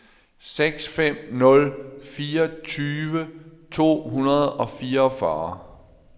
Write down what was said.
seks fem nul fire tyve to hundrede og fireogfyrre